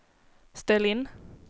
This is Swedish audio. ställ in